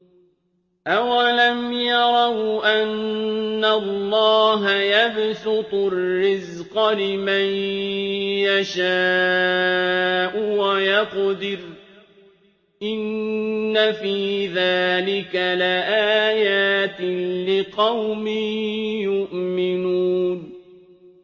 أَوَلَمْ يَرَوْا أَنَّ اللَّهَ يَبْسُطُ الرِّزْقَ لِمَن يَشَاءُ وَيَقْدِرُ ۚ إِنَّ فِي ذَٰلِكَ لَآيَاتٍ لِّقَوْمٍ يُؤْمِنُونَ